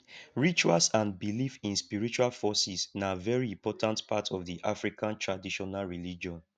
rituals and belief in spiritual forces na very important part of di african traditional religion